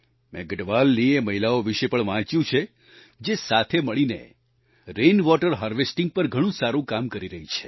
મેં ગઢવાલની એ મહિલાઓ વિશે પણ વાંચ્યું છે જે સાથે મળીને રેનવોટર હાર્વેસ્ટિંગ પર ઘણું સારું કામ કરી રહી છે